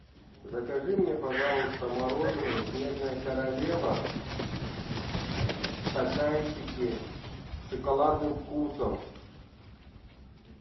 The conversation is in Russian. закажи мне пожалуйста мороженое снежная королева в стаканчике с шоколадным вкусом